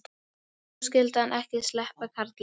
Nú skyldi hann ekki sleppa, karlinn.